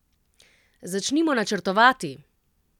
Začnimo načrtovati!